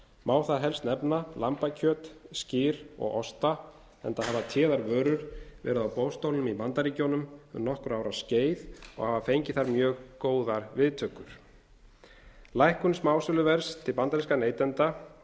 má þar helstar nefna lambakjöt skyr og osta enda hafa téðar vörur verið á boðstólum í bandaríkjunum um nokkurra ára skeið og hafa fengið þar mjög góðar viðtökur lækkun smásöluverðs til bandarískra neytenda í